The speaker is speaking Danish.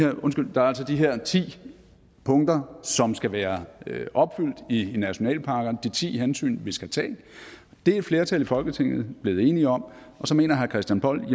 der er altså de her ti punkter som skal være opfyldt i nationalparkerne de ti hensyn vi skal tage det er et flertal i folketinget blevet enige om og så mener herre christian poll